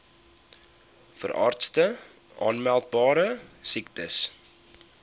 veeartse aanmeldbare siektes